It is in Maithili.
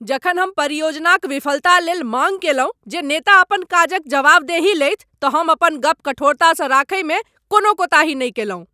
जखन हम परियोजनाक विफलता लेल माँग कयलहुँ जे नेता अपन काजक जवाबदेही लेथि तऽ हम अपन गप कठोरतासँ रखैमे कोनो कोताही नहि कएलहुँ।